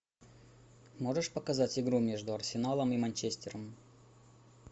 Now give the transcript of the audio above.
можешь показать игру между арсеналом и манчестером